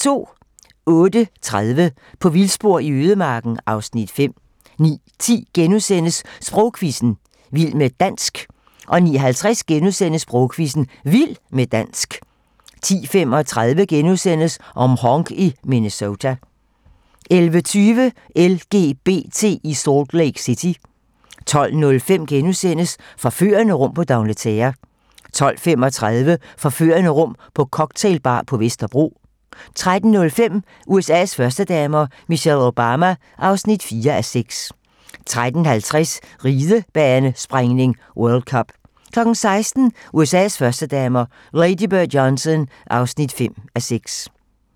08:30: På vildspor i ødemarken (Afs. 5) 09:10: Sprogquizzen - vild med dansk * 09:50: Sprogquizzen - Vild med dansk * 10:35: Mhong i Minnesota * 11:20: LGBT i Salt Lake City 12:05: Forførende rum på D'Angleterre * 12:35: Forførende rum på cocktailbar på Vesterbro 13:05: USA's førstedamer - Michelle Obama (4:6) 13:50: Ridebanespringning: World cup 16:00: USA's førstedamer - Lady Bird Johnson (5:6)